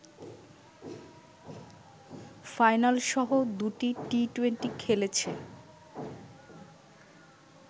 ফাইনালসহ দুটি টি-টোয়েন্টি খেলেছে